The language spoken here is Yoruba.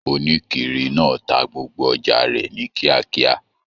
Onikiri náà tá gbogbo ọjà rẹ ni kíákíá.